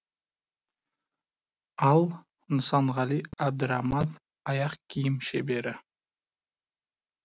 ал нысанғали әбдіраманов аяқ киім шебері